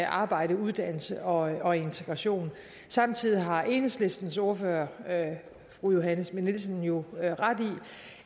arbejde uddannelse og integration samtidig har enhedslistens ordfører fru johanne schmidt nielsen jo ret i